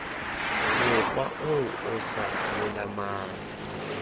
mokgwa o o sa lolamang